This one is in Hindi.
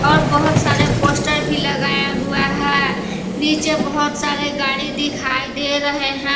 और बहोत सारे पोस्टर भी लगाया हुआ है नीचे बहोत सारे गाड़ी दिखाई दे रहे हैं।